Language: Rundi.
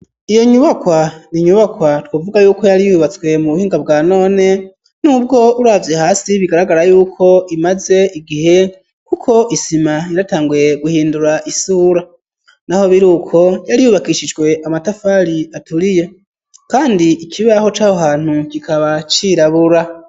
Iyo nyubakwa ni nyubakwa twovuga yuko yari yubatswe mu buhinga bwa none n'ubwo uravye hasi bigaragara yuko imaze igihe kuko isima yaratanguye guhindura isura, naho biri uko yari yubakishijwe amatafari aturiye kandi ikibaho caho hantu kikaba cirabura.